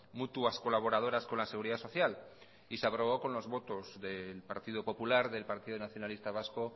mutuas colaboradoras con la seguridad social y se aprobó con los votos del partido popular del partido nacionalista vasco